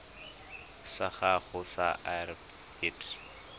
sa gago sa irp it